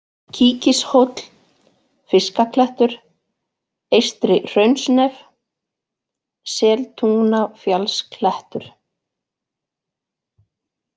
Kíkishóll, Fiskaklettur, Eystri-Hraunsnef, Seltungnafjallsklettur